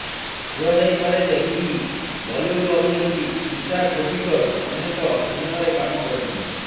କୁହାଯାଇପାରେଯେ କି ବଲିଉଡ଼୍ ଅଭିନେତ୍ରୀ ଈଶା କୋପିକର ଅନେକ ସିନେମାରେ କାମ କରିଛନ୍ତି